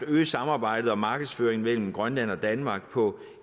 at øge samarbejdet om markedsføring mellem grønland og danmark på